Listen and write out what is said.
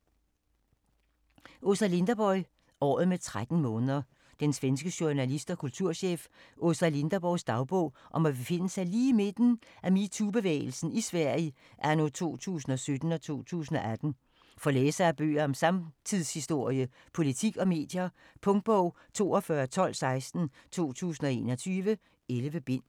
Linderborg, Åsa: Året med 13 måneder Den svenske journalist og kulturchef Åsa Linderborgs dagbog om at befinde sig lige i midten af metoo-bevægelsen i Sverige anno 2017-2018. For læsere af bøger om samtidshistorie, politik og medier. Punktbog 421216 2021. 11 bind.